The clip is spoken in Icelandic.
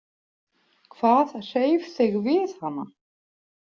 Hvað hreif þig við hana?